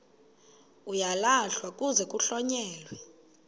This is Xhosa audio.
uyalahlwa kuze kuhlonyelwe